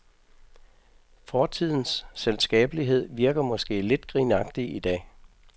Fortidens selskabelighed virker måske lidt grinagtig i dag.